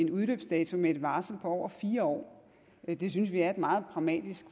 udløbsdato med et varsel på over fire år det synes vi er et meget pragmatisk